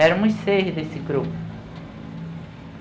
Éramos seis desse grupo.